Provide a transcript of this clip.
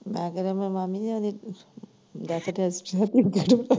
ਮੈਂ ਕਿਹੜਾ ਜਨਾਨੀ ਐ ਉਦੀ ਦੱਸ ਕੇ ਪੁੱਛਣਾ ਸੀ ਗੁਰੂ ਘਰ।